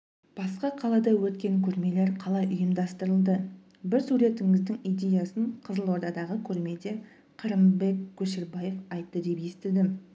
басқа қалада өткен көрмелер қалай ұйымдастырылды бір суретіңіздің идеясын қызылордадағы көрмеде қырымбек көшербаев айтты деп естідім